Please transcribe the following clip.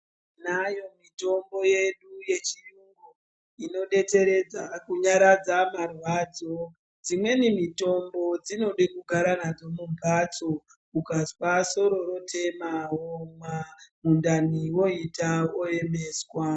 Tinayo mitombo yedu yechiyungu inodetseredze kunyaradza marwadzo, dzimweni mitombo dzinode kugara nadzo mumbatso ukazwa soro rotema womwa, mundani woita moemeswa.